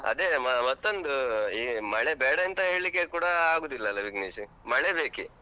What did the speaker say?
ಅದೇ ಮ ಮತ್ತೊಂದು ಈ ಮಳೆ ಬೇಡಂತ ಹೇಳಿಕ್ಕೆ ಕೂಡ ಆಗುದಿಲ್ಲಲ್ಲ ವಿಘ್ನೇಶ್, ಮಳೆ ಬೇಕೆ.